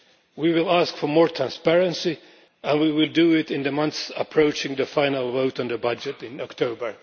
We will ask for more transparency and we will do it in the months approaching the final vote on the budget in October.